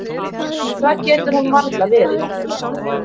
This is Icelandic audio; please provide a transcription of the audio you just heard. En það getur hún varla verið.